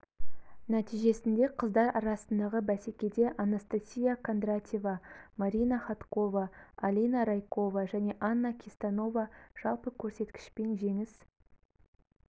нәтижесінде қыздар арасындағы бәсекеде анастасия кондратьева марина ходкова алина райкова және анна кистанова жалпы көрсеткішпен жеңіс